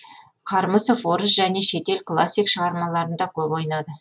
қармысов орыс және шетел классик шығармаларында көп ойнады